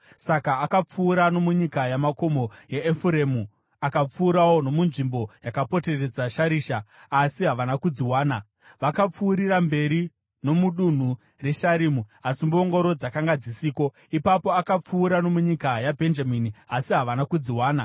Saka akapfuura nomunyika yamakomo yeEfuremu, akapfuurawo nomunzvimbo yakapoteredza Sharisha, asi havana kudziwana. Vakapfuurira mberi nomudunhu reSharimu, asi mbongoro dzakanga dzisiko. Ipapo akapfuura nomunyika yaBhenjamini, asi havana kudziwana.